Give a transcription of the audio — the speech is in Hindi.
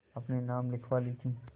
अपने नाम लिखवा ली थी